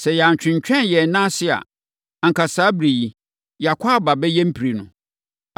Sɛ yɛantwentwɛn yɛn nan ase a, anka saa ɛberɛ yi, yɛakɔ aba bɛyɛ mprenu.”